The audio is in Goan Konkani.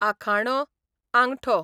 आखाणो, आंगठो